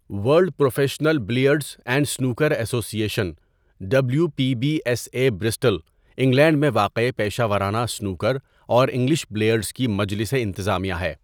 World professional billiards and snooker association W P B S A Bristol, England میں واقع پیشہ ورانہ snooker اور انگلش بلیئرڈز کی مجلس انتظامیہ ہے.